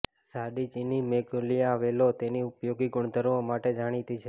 ઝાડી ચિની મેગ્નોલિયા વેલો તેની ઉપયોગી ગુણધર્મો માટે જાણીતી છે